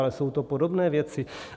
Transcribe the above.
Ale jsou to podobné věci.